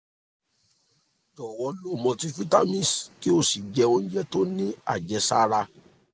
jọ̀wọ́ lo multivitamins kí o sì jẹ oúnjẹ tó ní àjẹsára